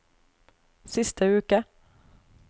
siste uke